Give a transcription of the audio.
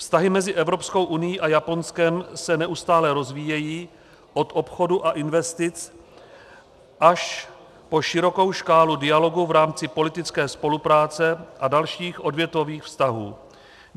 Vztahy mezi Evropskou unií a Japonskem se neustále rozvíjejí od obchodu a investic až po širokou škálu dialogu v rámci politické spolupráce a dalších odvětvových vztahů.